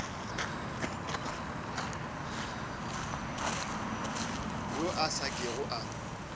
yo a sa kego a